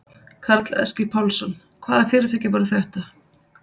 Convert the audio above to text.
Karl Eskil Pálsson: Hvaða fyrirtæki voru þetta?